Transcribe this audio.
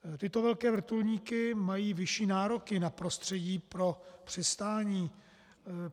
Tyto velké vrtulníky mají vyšší nároky na prostředí pro přistání.